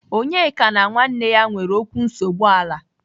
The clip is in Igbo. Onyeka na nwanne ya nwere okwu nsogbu ala.